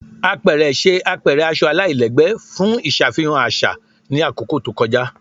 Apẹrẹ ṣe apẹrẹ aṣọ alailẹgbẹ fun iṣafihan aṣa ni akoko to kọja